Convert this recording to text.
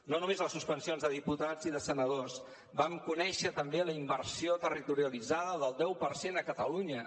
no només les suspensions de diputats i de senadors vam conèixer també la inversió territorialitzada del deu per cent a catalunya